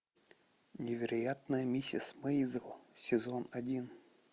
невероятная миссис мейзел сезон один